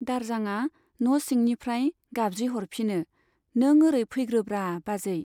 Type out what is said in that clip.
दारजांआ न' सिंनिफ्राय गाबज्रिह'रफिनो , नों ओरै फैग्रोब्रा बाजै।